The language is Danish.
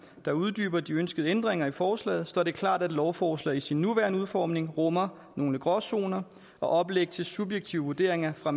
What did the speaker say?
der uddyber de ønskede ændringer i forslaget står det klart at lovforslaget i sin nuværende udformning rummer nogle gråzoner og oplæg til subjektive vurderinger fra